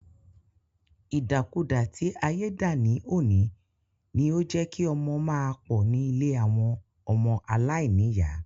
Ìdàkudà tí ayé dà ní òní, ni ó jé kí ọmọ máa pọ̀ ní ilé àwọn ọmọ aláìníyà.